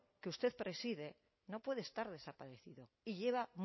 que usted preside no puede estar desaparecido y lleva